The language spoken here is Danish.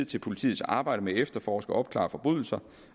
til politiets arbejde med at efterforske og opklare forbrydelser